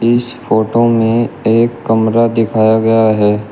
इस फोटो में एक कमरा दिखाया गया है।